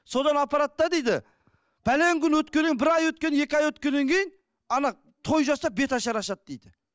содан апарады да дейді күн өткеннен кейін бір ай өткен екі ай өткеннен кейін ана той жасап беташар ашады дейді